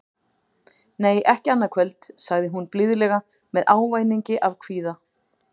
Nei, ekki annað kvöld, sagði hún blíðlega með ávæningi af kvíða.